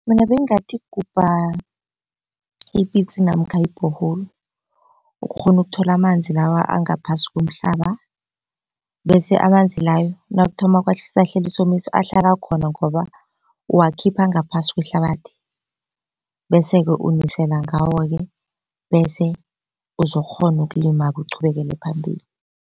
Mina bengathi gubha ipitsi namkha i-borehole ukghone ukuthola amanzi lawa angaphasi komhlaba bese amanzi layo nakuthoma kwasahlasela isomiso ahlala khona ngoba uwakhipha ngaphasi kwehlabathi bese-ke unisela ngawo ke, bese uzokukghona ukulima uqhubekele phambili.